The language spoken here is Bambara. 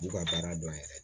N'u ka baara dɔn yɛrɛ